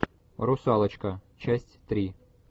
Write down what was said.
русалочка часть три